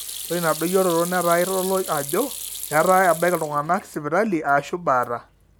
ore ina doyioroto naa eitodolu ajo etaa ebaiki iltung'anak sipitali aashu baata